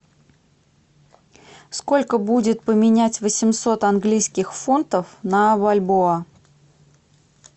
сколько будет поменять восемьсот английских фунтов на бальбоа